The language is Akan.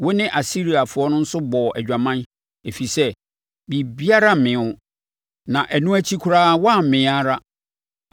Wo ne Asiriafoɔ nso bɔɔ adwaman, ɛfiri sɛ biribiara mmee wo. Na ɛno akyi koraa woammee ara.